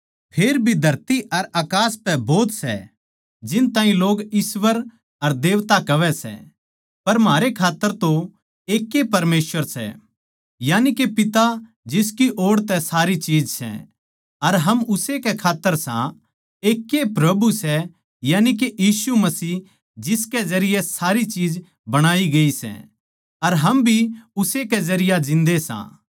फेर भी धरती अर अकास पै भोत सै जिन ताहीं लोग ईश्‍वर अर देवता कहवै सै पर म्हारे खात्तर तो एकैए परमेसवर सै यानिके पिता जिसकी ओड़ तै सारी चीज सै अर हम उस्से कै खात्तर सां एकैए प्रभु सै यानिके यीशु मसीह जिसकै जरिये सारी चीज बणाई गई अर हम भी उस्से के जरिये जिन्दे सां